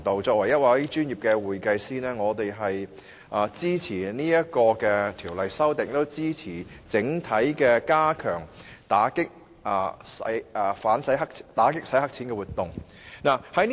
作為專業會計師，我們支持《條例草案》所作的修訂，並支持整體加強打擊洗黑錢的活動。